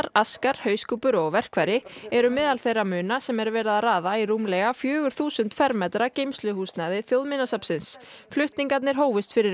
Askar hauskúpur og verkfæri eru meðal þeirra muna sem er verið að raða í rúmlega fjögur þúsund fermetra geymsluhúsnæði Þjóðminjasafnsins flutningarnir hófust fyrir